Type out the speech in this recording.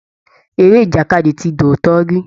Eré ìjàkadì ti di òótọ́ rí